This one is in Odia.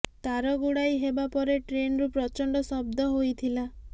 ତାର ଗୁଡାଇ ହେବା ପରେ ଟ୍ରେନରୁ ପ୍ରଚଣ୍ଡ ଶବ୍ଦ ହୋଇଥିଲା